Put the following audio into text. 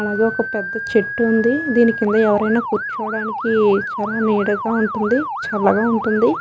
అలాగే ఒక్క పెద్ద చెట్టు ఉందిదీనికింద ఎవ్వరైనా కూర్చోడానికి చాలా నీడగా ఉంటుంది చల్లగా ఉంటుంది.